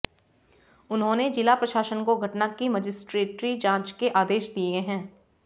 उन्होंने जिला प्रशासन को घटना की मजिस्ट्रेटी जांच के आदेश दे दिए हैं